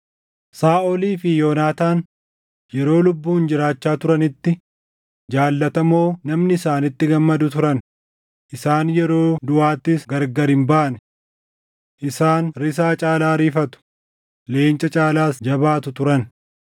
Saaʼolii fi Yoonaataan yeroo lubbuun jiraachaa turanitti, jaallatamoo namni isaanitti gammadu turan; isaan yeroo duʼaattis gargari hin baane. Isaan risaa caalaa ariifatu, leenca caalaas jabaatu turan.